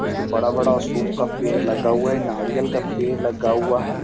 इसमें बड़ा-बड़ा अशोक का पेड़ लगा हुआ है नारियल का पेड़ लगा हुआ है।